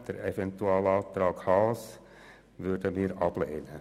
Den Eventualantrag Haas werden wir ablehnen.